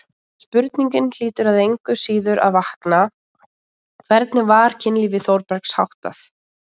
En spurningin hlýtur engu að síður að vakna: hvernig var kynlífi Þórbergs háttað?